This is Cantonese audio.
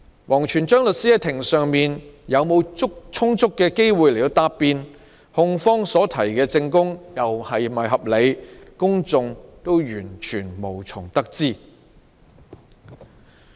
王全璋律師在庭上是否有充足機會答辯，控方所提的證供又是否合理，公眾完全無從得知。